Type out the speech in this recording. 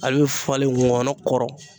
Ale bɛ falen ŋɔnɔ kɔrɔ